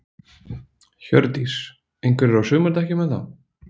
Hjördís: Einhverjir á sumardekkjum enn þá?